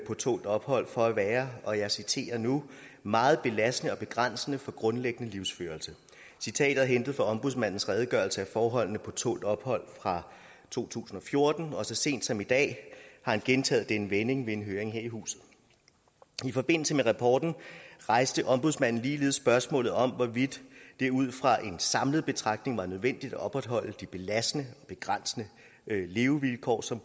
på tålt ophold for at være og jeg citerer nu meget belastende og begrænsende for grundlæggende livsførelse citatet er hentet fra ombudsmandens redegørelse af forholdene på tålt ophold fra to tusind og fjorten og så sent som i dag har han gentaget denne vending ved en høring her i huset i forbindelse med rapporten rejste ombudsmanden ligeledes spørgsmålet om hvorvidt det ud fra en samlet betragtning var nødvendigt at opretholde de belastende og begrænsende levevilkår som